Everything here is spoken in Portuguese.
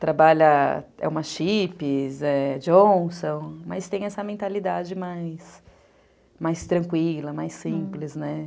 trabalha, é uma Chipps, é Johnson, mas tem essa mentalidade mais mais tranquila, mais simples, né?